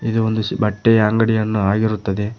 ಇದು ಒಂದು ಬಟ್ಟೆಯ ಅಂಗಡಿಯನ್ನು ಆಗಿರುತ್ತದೆ.